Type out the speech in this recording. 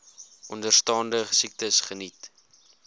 onderstaande siektes geniet